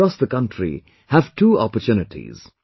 Student friends across the country have two opportunities